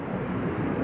İndi qalxır.